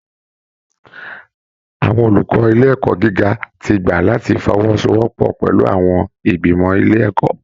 Àwọn olùkọ́ ilé ẹ̀kọ́ gíga ti gbà láti fọwọ́sowọ́pọ̀ pẹ̀lú àwọn ìgbìmọ̀ ilé ẹ̀kọ́